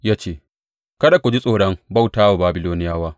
Ya ce, Kada ku ji tsoron bauta wa Babiloniyawa.